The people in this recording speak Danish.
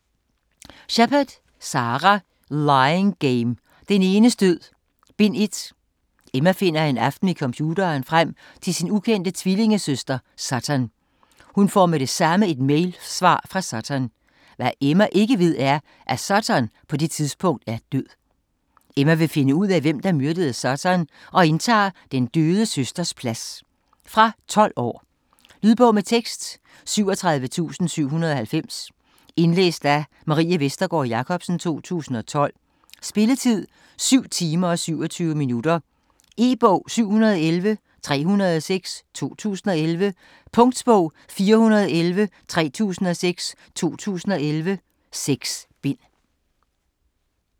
Shepard, Sara: Lying game: Den enes død: Bind 1 Emma finder en aften ved computeren frem til sin ukendte tvillingesøster Sutton. Hun får med det samme et mailsvar fra Sutton. Hvad Emma ikke ved er, at Sutton på det tidspunkt er død. Emma vil finde ud af, hvem der myrdede Sutton, og indtager sin døde søsters plads. Fra 12 år. Lydbog med tekst 37790 Indlæst af Marie Vestergård Jacobsen, 2012. Spilletid: 7 timer, 27 minutter. E-bog 711306 2011. Punktbog 411306 2011. 6 bind.